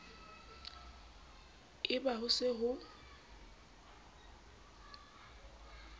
e ba ho se ho